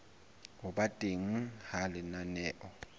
ho ba teng ha lenaneo